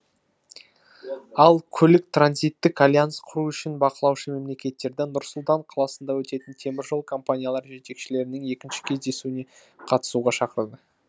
ал көлік транзиттік альянс құру үшін бақылаушы мемлекеттерді нұр сұлтан қаласында өтетін теміржол компаниялары жетекшілерінің екінші кездесуіне қатысуға шақырды